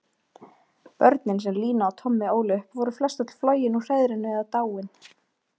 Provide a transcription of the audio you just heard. Börnin sem Lína og Tommi ólu upp voru flestöll flogin úr hreiðrinu eða dáin.